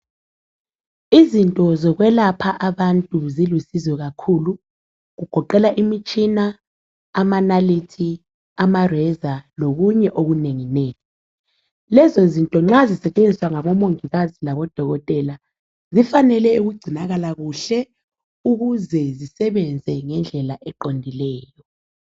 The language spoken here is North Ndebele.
Izinto zokwelapha abantu zilusizo kakhulu kugoqela imitshina, amanalithi, amareza lokunye okunenginengi lezo zinto nxa sitshenziswa ngabomongikazi labodokotela zifanele ukugcinakala kuhle ukuze zisebenza ngendlela eqondileyo.